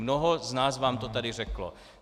Mnoho z nás vám to tady řeklo.